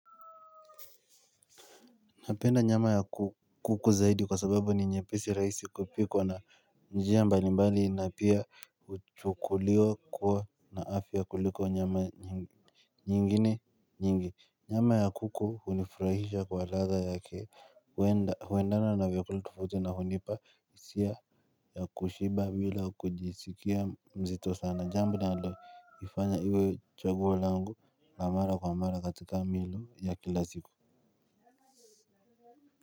Napenda nyama ya kuku zaidi kwa sababu ni nyepesi rahisi kupikwa na njia mbali mbali na pia huchukuliwa kuwa na afya kuliko nyama nyingine nyingi. Nyama ya kuku hunifurahisha kwa ladha yake huenda huendana na vyakula tofauti na hunipa hisia ya kushiba bila kujisikia mzito sana. Jambo nalo ifanya iwe chaguo lango la mara kwa mara katika milo ya kila siku.